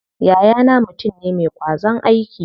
Yayana mutum ne ma ƙwazon aiki.